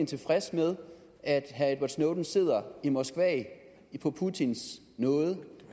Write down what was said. tilfreds med at edward snowden sidder i moskva på putins nåde